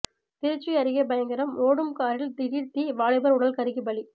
திருச்சி அருகே பயங்கரம் ஓடும் காரில் திடீர் தீ வாலிபர் உடல் கருகி பலி